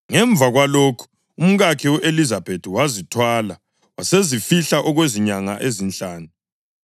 Ngemva kwalokhu umkakhe u-Elizabethi wazithwala wasezifihla okwezinyanga ezinhlanu,